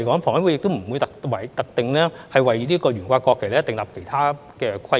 房委會亦不會特定為懸掛國旗訂立其他規則。